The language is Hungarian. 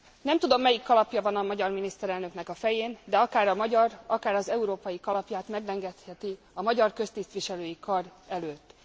Nem tudom, melyik kalapja van a magyar miniszterelnöknek a fején, de akár a magyar, akár az európai kalapját meglengetheti a magyar köztisztviselői kar előtt.